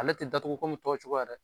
Ale te datugu komi tɔw cogoya dɛ.